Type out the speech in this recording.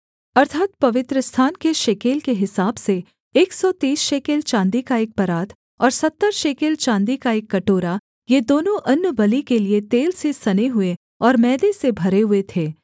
अर्थात् पवित्रस्थान के शेकेल के हिसाब से एक सौ तीस शेकेल चाँदी का एक परात और सत्तर शेकेल चाँदी का एक कटोरा ये दोनों अन्नबलि के लिये तेल से सने हुए और मैदे से भरे हुए थे